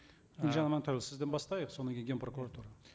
і елжан амантайұлы сізден бастайық содан кейін ген прокуратура